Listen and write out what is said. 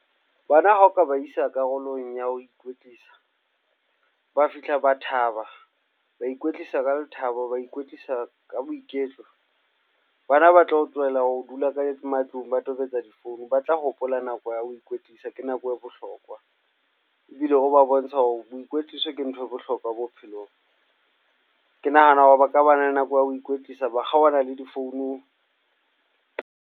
Bana ha o ka ba isa karolong ya ho ikwetlisa. Ba fihla ba thaba, ba ikwetlisa ka lethabo, ba ikwetlisa ka boiketlo. Bana ba tlo tlohella ho dula ka matlung, ba tobetsa difounu batla hopola nako ya ho ikwetlisa ke nako e bohlokwa ebile o ba bontsha hore bo ikwetliso ke nthwe bohlokwa bophelong. Ke nahana hore ba ka ba le nako ya ho ikwetlisa, ba kgaohana le difounu.